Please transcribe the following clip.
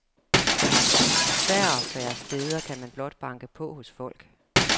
Færre og færre steder kan man blot banke på hos folk.